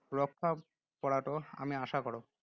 ৰক্ষা পৰাটো আমি আশা কৰোঁ।